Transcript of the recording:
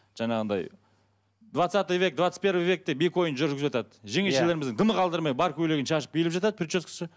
жаңағыдай двадцатый век двадцать первый век деп екі ойын жүріп жатады жеңешелеріміз дымы қалдырмай бар көйлегін шашып билеп жатады прическасы